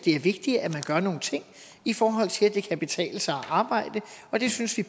er vigtigt at man gør nogle ting i forhold til at det kan betale sig at arbejde og det synes vi